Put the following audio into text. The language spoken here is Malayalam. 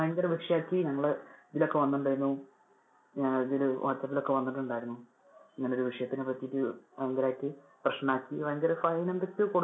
ഭയങ്കര വിഷയം ആക്കി. ഞങ്ങള് ഇതിൽ ഒക്കെ വന്നിട്ടുണ്ടാർന്നു. ആഹ് ഇതില് whatsapp ൽ ഒക്കെ വന്നിട്ടുണ്ടാർന്നു. ഇങ്ങനെ ഒരു വിഷയത്തിനെ പറ്റിട്ട് ഭയങ്കരയിട്ട് പ്രെശ്നം ആക്കി അതിനി fine എന്തൊക്കെയോ കൊടു~